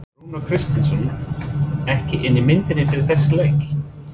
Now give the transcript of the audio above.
Var Rúnar Kristinsson ekki inni í myndinni fyrir þessa leiki?